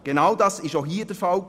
Genau dies war auch hier der Fall.